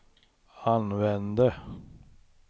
använde